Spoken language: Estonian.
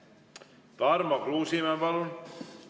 Tarmo Kruusimäe, palun!